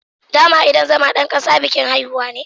Dama idan zama dan kasa bikin haihuwa ne